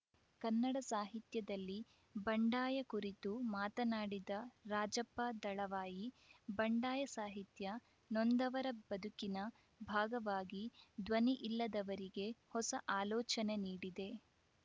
ಕನ್ನಡ ಸಾಹಿತ್ಯದಲ್ಲಿ ಬಂಡಾಯ ಕುರಿತು ಮಾತನಾಡಿದ ರಾಜಪ್ಪ ದಳವಾಯಿ ಬಂಡಾಯ ಸಾಹಿತ್ಯ ನೊಂದವರ ಬದುಕಿನ ಭಾಗವಾಗಿ ಧ್ವನಿ ಇಲ್ಲದವರಿಗೆ ಹೊಸ ಆಲೋಚನೆ ನೀಡಿದೆ